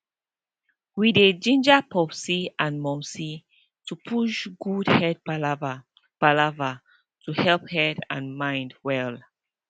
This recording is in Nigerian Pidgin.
we dey ginger popsi and momsi to push good head palava palava to helep head and mind well